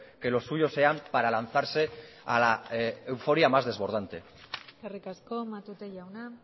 que los suyos sean para lanzarse a la euforia más desbordante eskerrik asko matute jauna